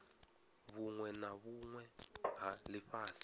vhunwe na vhunwe ha lifhasi